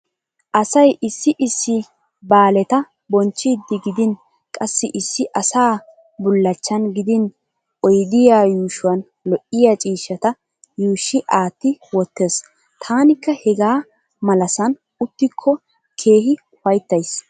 Asay issi issi baaleta bonchchiiddi gidin qassi issi asaa bullachchan gidin oydiya yuushuwan lo'ya ciishshata yuushshi aatti wottees. Taanikka hegaa malasan uttikko keehi ufayttays.